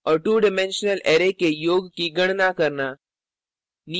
और 2 dimensional array के योग की गणना करना